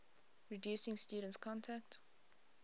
reducing students contact